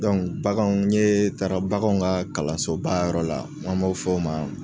bagan n ɲe taara bagan ka kalansobayɔrɔ la, n'a b'a fɔ o ma